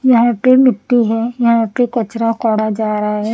यहां पे मिट्टी है यहां पे कचरा काढ़ा जा रहा है ।